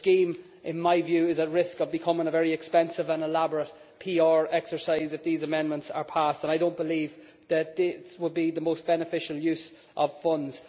The scheme, in my view, is at risk of becoming a very expensive and elaborate PR exercise if these amendments are passed, and I do not believe that this would be the most beneficial use of funds.